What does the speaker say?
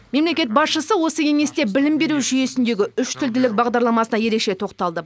мемлекет басшысы осы кеңесте білім беру жүйесіндегі үштілділік бағдарламасына ерекше тоқталды